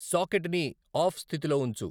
socket ని off స్థితిలో ఉంచు